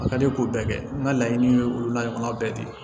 A ka di k'o bɛɛ kɛ n ka laɲini ye olu la kuma bɛɛ ten